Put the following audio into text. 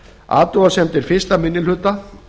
athugasemdir fyrsti minni hluta